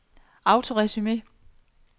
autoresume